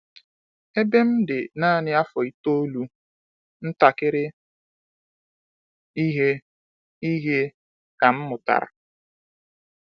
Ebe m dị naanị afọ itoolu, ntakiri ihe ihe ka mụ ghọtara.